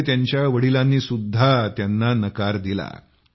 त्यामुळे त्यांच्या वडिलांनी सुद्धा त्यांना नकार दिला